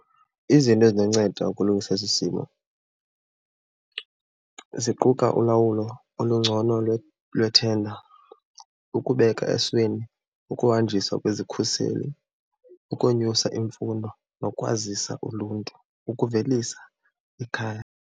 Izinto ezinonceda ukulungisa esi simo ziquka ulawulo olungcono lwethenda, ukubeka esweni ukuhanjiswa kwezikhuseli, ukonyusa imfundo nokwazisa uluntu ukuvelisa ikhaya.